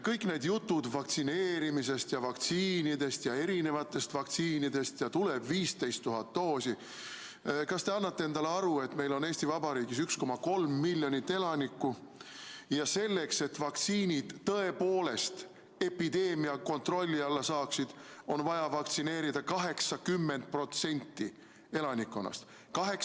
Kõik need jutud vaktsineerimisest ja erisugustest vaktsiinidest ja sellest, et tuleb 15 000 doosi – kas te annate endale aru, et meil on Eesti Vabariigis 1,3 miljonit elanikku ja selleks, et vaktsiiniga epideemia tõepoolest kontrolli alla saada, on vaja vaktsineerida 80% elanikkonnast?